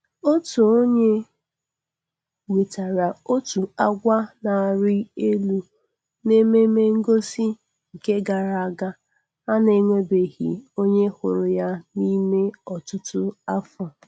Otu onye wetara otu agwa na-arị elu n'ememengosị nke gara aga a.na-enwebeghị onye hụrụ yan'ime ọtụtụ afọ.